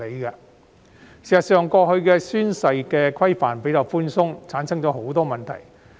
事實上，過去的宣誓規範較為寬鬆，導致很多問題產生。